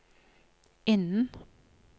innen